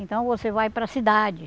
Então você vai para cidade.